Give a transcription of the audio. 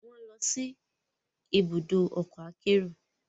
Wọn nlọ si ibùdó ọkọ akero